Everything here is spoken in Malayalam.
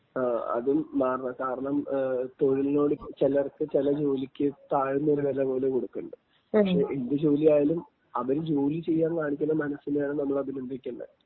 ങാ, അതും മാറണം.കാരണം തൊഴിലിനോട് ചിലർക്ക് ചില ജോലിക്ക് താഴ്ന്ന ഒരു വിലപോലെ കൊടുക്കണുണ്ട്. പക്ഷെ ഏത് ജോലി അവര് ജോലി ചെയ്യാൻ കാണിക്കുന്ന മനസ്സിനെയാണ് നമ്മൾ അഭിനന്ദിക്കേണ്ടേ..